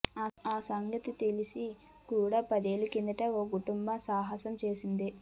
ఆ సంగతి తెలిసి కూడా పదేళ్ల కిందట ఓ కుటుంబం సాహసం చేసింది